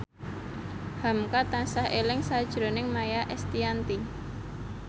hamka tansah eling sakjroning Maia Estianty